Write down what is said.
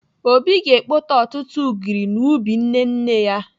Obi ga-ekpote ọtụtụ ụgịrị n'ubi nne nne ya.